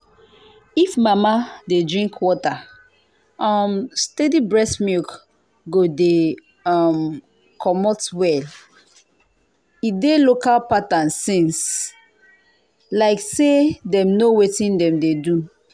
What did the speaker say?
if mama dey drink water um steady breast milk go de um comot well e dey local pattern since like say dem know wetin dem dey do. um